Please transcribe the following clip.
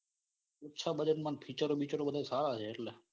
ઓછા budget માં અને featureo બિચારો બધા સારા છે. એટલે